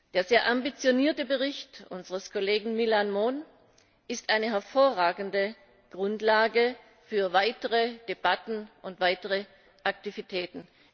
Der sehr ambitionierte Bericht unseres Kollegen Millán Mon ist eine hervorragende Grundlage für weitere Debatten und weitere Aktivitäten.